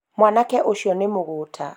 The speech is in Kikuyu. mwanake ũcio nĩ mũgũta